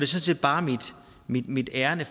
set bare mit ærinde